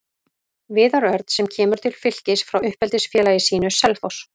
Viðar Örn sem kemur til Fylkis frá uppeldisfélagi sínu, Selfoss.